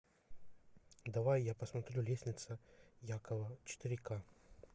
давай я посмотрю лестница якова четыре ка